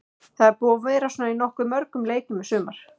Þetta er búið að vera svona í nokkuð mörgum leikjum í sumar.